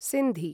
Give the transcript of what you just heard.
Sindhi